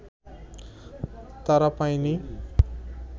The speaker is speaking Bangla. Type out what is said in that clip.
তারা পায়নি